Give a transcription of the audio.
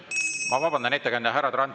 Ma vabandan, ettekandja!